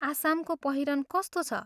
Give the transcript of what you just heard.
आसामको पहिरन कस्तो छ?